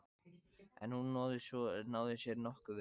En hún náði sér nokkuð vel.